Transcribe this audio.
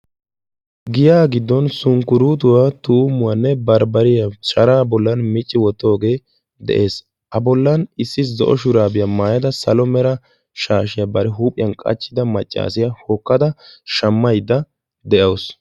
Giya giddon sunkkorottoy tumumoyinne bambbaree de'ees. Hegaa issi maccassiya hokkadda shamawussu.